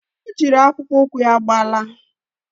Ọ jịrị akpụkpọ ụkwụ ya gbalaa